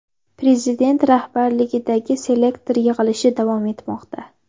Prezident rahbarligidagi selektor yig‘ilishi davom etmoqda.